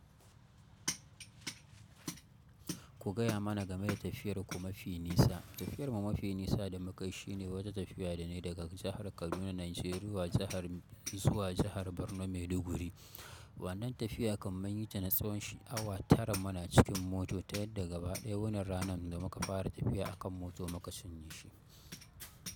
Ku gaya mana game da tafiyar ku mafi nisa. Tafiyar mu mafi nisa da mukayi shi ne wata tafiya da na yi daga jahar Kaduna, Najeriya zuwa jahar Borno Maiduguri. Wannan tafiya kam mun yi ta na tsawon awa tara muna cikin mota, ta yadda gaba ɗaya wanan ranar da muka fara tafiya a kan mota muka ciny shi.